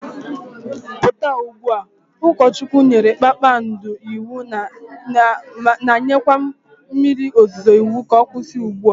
puta ugbua! Ukochwukwu nyere Kpakpando iwu na nyekwe mmiri ozuzuo iwu ka okwusi ugbua